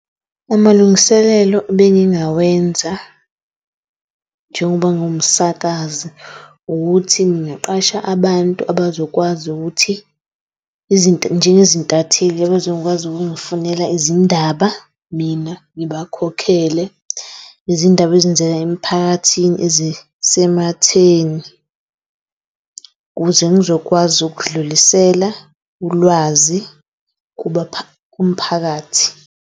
Amalungiselelo ebengingawenza njengoba ngingumsakazi ukuthi ngingaqasha abantu abazokwazi ukuthi njenge zintatheli ababezokwazi ukungifunela izindaba. Mina ngibakhokhele nezindaba ezenzeka emphakathini ezisematheni ukuze ngizokwazi ukudlulisela ulwazi kumphakathi.